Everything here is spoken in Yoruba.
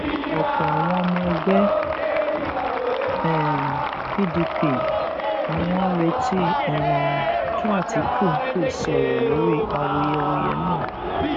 ọpọ àwọn ọmọ ẹgbẹ um pdp ni wọn ń retí um kí àtikukù sọrọ lórí awuyewuye náà